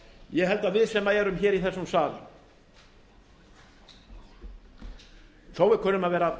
ég held að við sem erum í þessum sal þó við kunnum að vera